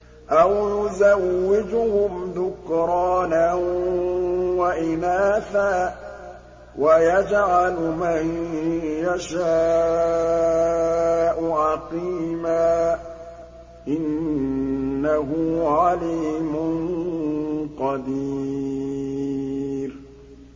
أَوْ يُزَوِّجُهُمْ ذُكْرَانًا وَإِنَاثًا ۖ وَيَجْعَلُ مَن يَشَاءُ عَقِيمًا ۚ إِنَّهُ عَلِيمٌ قَدِيرٌ